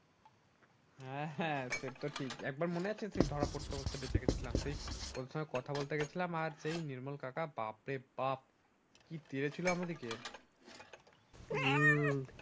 হ্যাঁ হ্যাঁ সেতো ঠিক একবার মনে আছে তুই ধরা পরতে পরতে বেঁচে গেছিলাম সে ওর ‍সাথে কথা বলতে গেছিলাম আর সে নির্মল কাকা বাপরে বাপ কি দিয়েছিলো আমাদেরকে হম